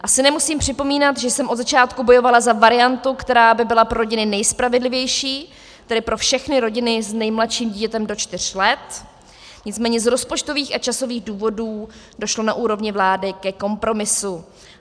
Asi nemusím připomínat, že jsem od začátku bojovala za variantu, která by byla pro rodiny nejspravedlivější, tedy pro všechny rodiny s nejmladším dítětem do čtyř let, nicméně z rozpočtových a časových důvodů došlo na úrovni vlády ke kompromisu.